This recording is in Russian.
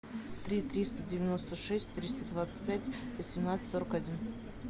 три триста девяносто шесть триста двадцать пять восемнадцать сорок один